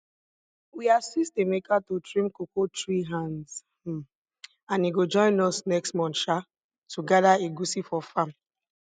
we assist emeka to trim cocoa tree hands um and he go join us next month um to gather egusi for farm